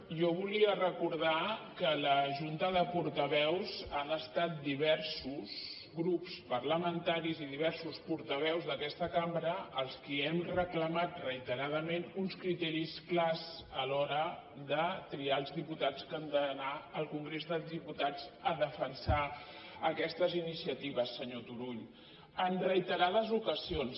jo volia recordar que a la junta de portaveus han estat diversos grups parlamentaris i diversos portaveus d’aquesta cambra els qui hem reclamat reiteradament uns criteris clars a l’hora de triar els diputats que han d’anar al congrés dels diputats a defensar aquestes iniciatives senyor turull en reiterades ocasions